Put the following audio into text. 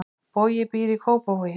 Bogi býr í Kópavogi.